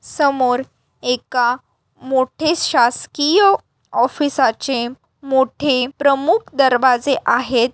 समोर एका मोठे शासकीय ऑफिसाचे मोठे प्रमुख दरवाजे आहेत.